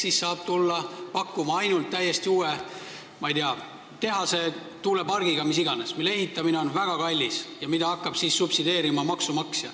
Seega saab vähempakkumisele tulla ainult täiesti uue – ma ei tea – tehase või tuulepargiga, mille ehitamine on väga kallis ja mida hakkab siis subsideerima maksumaksja.